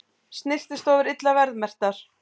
Snyrtistofur illa verðmerktar